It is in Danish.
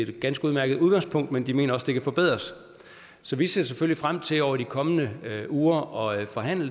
et ganske udmærket udgangspunkt men de mener at det kan forbedres så vi ser selvfølgelig frem til over de kommende uger at forhandle